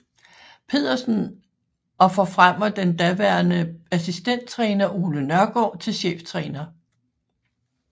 Pedersen og forfremmer den daværende assistenttræner Ole Nørgaard til cheftræner